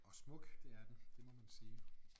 Og smuk det er den det må man sige